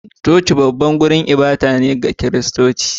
Coci babban wurin ibada ne ga Kiristoci